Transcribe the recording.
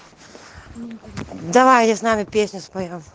давай я знаю песню споем